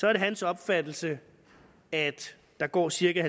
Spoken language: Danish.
er det hans opfattelse at der går cirka